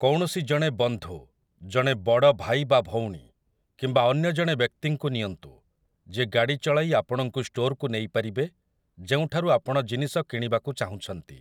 କୌଣସି ଜଣେ ବନ୍ଧୁ, ଜଣେ ବଡ଼ ଭାଇ ବା ଭଉଣୀ, କିମ୍ବା ଅନ୍ୟ ଜଣେ ବ୍ୟକ୍ତିଙ୍କୁ ନିଅନ୍ତୁ, ଯିଏ ଗାଡ଼ି ଚଳାଇ ଆପଣଙ୍କୁ ଷ୍ଟୋର୍‌କୁ ନେଇପାରିବେ ଯେଉଁଠାରୁ ଆପଣ ଜିନିଷ କିଣିବାକୁ ଚାହୁଁଛନ୍ତି ।